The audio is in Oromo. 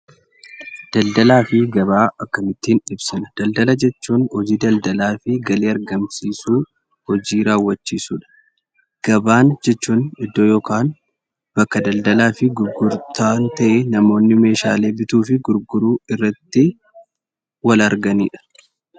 Daldalaa fi gabaa akkamittiin ibsina? daldala jechuun hojii daldalaa fi galii argamsiisu hojii raawwachiisudha. Gabaan jechuun iddoo yokaan bakka daldalaa fi gurgurtaan ta'ee namoonni meeshaalee bituu fi gurguruu irratti wal arganidha.